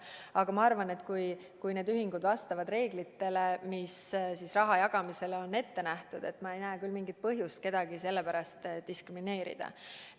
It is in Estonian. Aga ma arvan, et kui need ühingud vastavad reeglitele, mis on raha jagamisel ette nähtud, siis ma ei näe küll mingit põhjust kedagi sellepärast diskrimineerida.